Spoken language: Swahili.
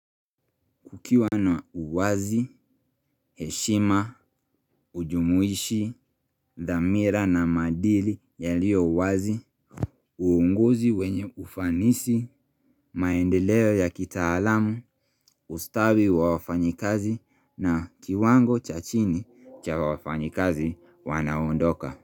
Kukiwa na uwazi, heshima, ujumuishi, dhamira na maadili yaliyo uwazi, uunguzi wenye ufanisi, maendeleo ya kitaalamu, ustawi wa wafanyikazi na kiwango cha chini cha wafanyikazi wanaondoka.